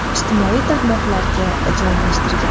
ijtimoiy tarmoqlarga joylashtirgan.